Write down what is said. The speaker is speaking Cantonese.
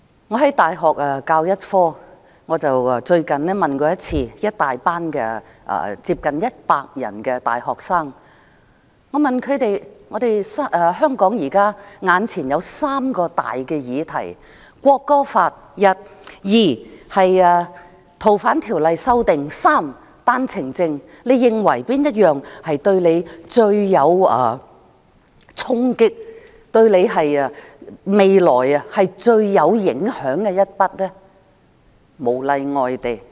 我在大學教一個科目，最近我問一班接近100人的大學生："香港現時有3個大議題：《國歌法》、《逃犯條例》的修訂，以及單程證。你認為哪一項對你衝擊最大，對你未來最有影響呢？